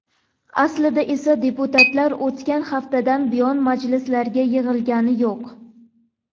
Aslida esa deputatlar o‘tgan haftadan buyon majlislarga yig‘ilgani yo‘q.